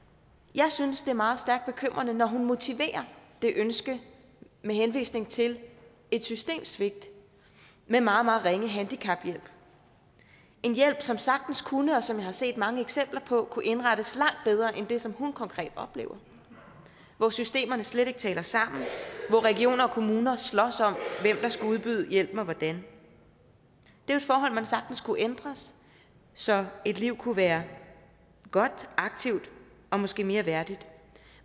jeg synes at det er meget stærkt bekymrende når hun motiverer det ønske med henvisning til et systemssvigt med meget meget ringe handicaphjælp en hjælp som sagtens kunne og som jeg har set mange eksempler på kunne indrettes langt bedre end det som hun konkret oplever hvor systemerne slet ikke taler sammen hvor region og kommune slås om hvem der skal udbyde hjælpen og hvordan det er forhold som sagtens kunne ændres så et liv kunne være godt aktivt og måske mere værdigt